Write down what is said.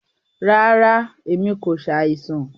Ràrá, ẹ̀mi kò ṣàìsàn.